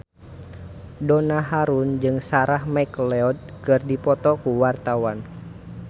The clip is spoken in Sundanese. Donna Harun jeung Sarah McLeod keur dipoto ku wartawan